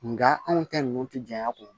Nga anw ta ninnu tɛ jɛya ko